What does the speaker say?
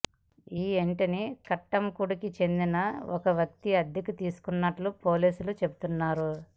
ఈ ఇంటిని కట్టంకుడికి చెందిన ఒక వ్యక్తి అద్దెకు తీసుకున్నట్టు పోలీసులు చెబుతున్నారు